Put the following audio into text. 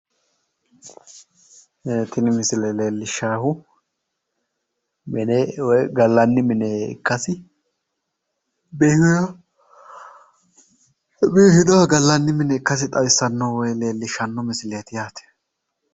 Tini misile leellishshaahu mine woy gallanni mine ikkasi, biifinoha gallanni mine ikkasi xawissanno woyi leellishshanno misileeti yaate.